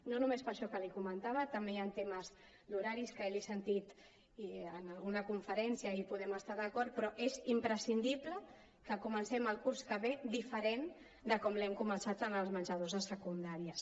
no només per això que li comentava també hi han temes d’horaris que l’he sentit en alguna conferència i podem estar hi d’acord però és imprescindible que comencem el curs que ve diferent de com l’hem començat amb els menjadors de secundària